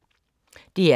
DR K